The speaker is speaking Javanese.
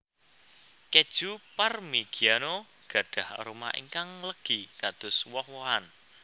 Kèju Parmigiano gadhah aroma ingkang legi kados woh wohan